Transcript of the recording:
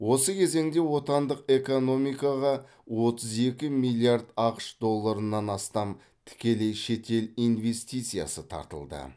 осы кезеңде отандық экономикаға отыз екі миллиард ақш долларынан астам тікелей шетел инвестициясы тартылды